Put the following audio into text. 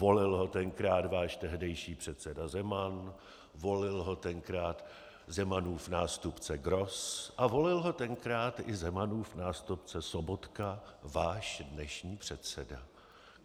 Volil ho tenkrát váš tehdejší předseda Zeman, volil ho tenkrát Zemanův nástupce Gross a volil ho tenkrát i Zemanův nástupce Sobotka, váš dnešní předseda.